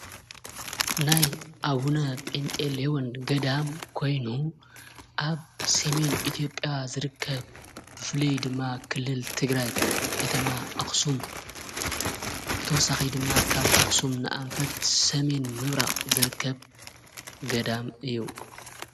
ናይ ኣብ ሁነ ጴንጤ ሌዎን ገዳም ኮይኑ ኣብ ሴሜን ኢትዮጵያ ዘርከብ ፍልይ ድማ ክልል ትግራይ ከተማ ኣክሱም ብተወሳኺይ ድማ ካብ ኣኽሱም ንኣንፈት ሰሜን ምብራ ዝርከብ ገዳም እዩ።